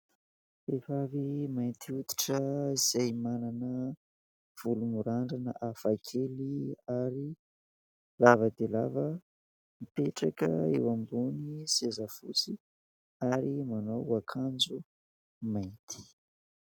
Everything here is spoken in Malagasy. Vehivavy mainty hoditra izay manana volo mirandrana hafa kely ary lava dia lava mipetraka eo ambony seza fotsy ary manao akanjo mainty.